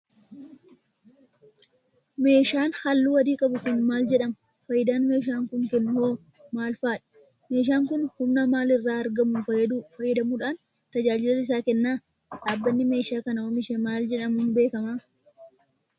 Meeshaan haalluu adii qabu kun, maal jedhama? Faayidaan meeshaan kun kennu hoo maal faa dha? Meeshaan kun, humna maal irraa argamu fayyadamuudhaan tajaajila isaa kenna? Dhaabbanni meeshaa kana oomishe maal jedhamuun beekama?